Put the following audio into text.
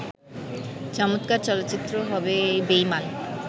চমৎকার চলচ্চিত্র হবে বেঈমান